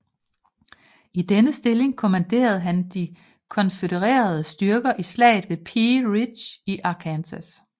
I denne stilling kommanderede han de konfødererede styrker i slaget ved Pea Ridge i Arkansas